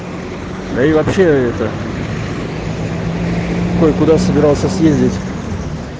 да и вообще это кое-куда собирался съездить